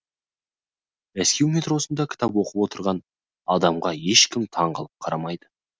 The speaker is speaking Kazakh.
мәскеу метросында кітап оқып отырған адамға ешкім таңғалып қарамайды